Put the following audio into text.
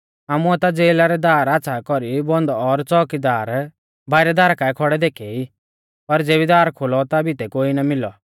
आमुऐ ता ज़ेला रै दार आच़्छ़ा कौरी बन्द और च़ोअकीदार बाइरै दारा काऐ खौड़ै देखै ई पर ज़ेबी दार खोलौ ता भितै कोई ना मिलौ